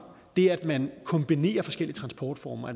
det at man kan kombinere forskellige transportformer